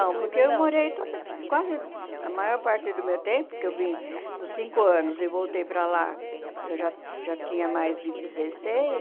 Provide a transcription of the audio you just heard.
Não, porque eu morei toda quase a maior parte do meu tempo, que eu vim com cinco anos e voltei para lá, eu já já tinha mais de dezesseis